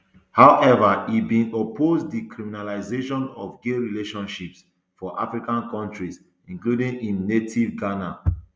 however e bin oppose di criminalisation of gay relationships for african kontris including im native ghana